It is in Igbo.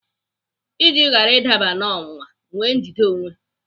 Iji ghara ịdaba n'ọnwụnwa, nwee njide onwe.